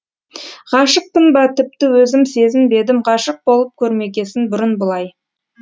ғашықпын ба тіпті өзім сезінбедім ғашық болып көрмегесін бұрын бұлай